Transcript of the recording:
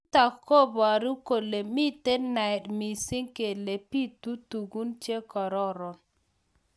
Nitok koburu kole mitei naet missing kele bitu tukun chekororon.